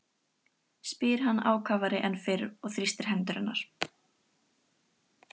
spyr hann ákafari en fyrr og þrýstir hendur hennar.